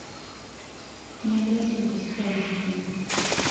необратимость аш ди